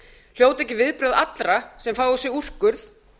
hljóta ekki viðbrögð allra sem fá á sig úrskurð